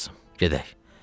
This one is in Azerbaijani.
Gəl qızım, gedək.